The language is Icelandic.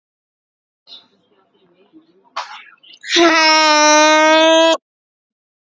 Flokkur manna, svaraði síra Björn.